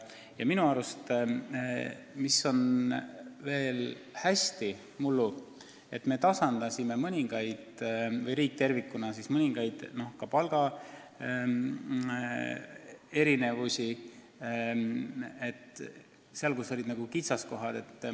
Ja minu arust oli mullu hea veel see, et me tasandasime mõningaid palgaerinevusi sektorites, kus see kitsaskohaks on olnud.